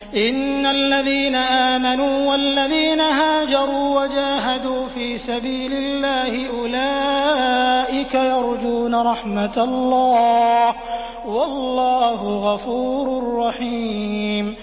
إِنَّ الَّذِينَ آمَنُوا وَالَّذِينَ هَاجَرُوا وَجَاهَدُوا فِي سَبِيلِ اللَّهِ أُولَٰئِكَ يَرْجُونَ رَحْمَتَ اللَّهِ ۚ وَاللَّهُ غَفُورٌ رَّحِيمٌ